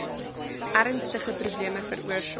ernstige probleme veroorsaak